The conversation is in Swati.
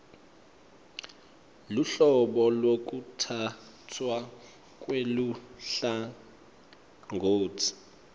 luhlobo lwekutsatfwa kweluhlangotsi